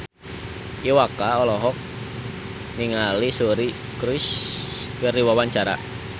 Iwa K olohok ningali Suri Cruise keur diwawancara